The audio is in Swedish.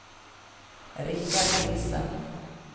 Rikard Nielsen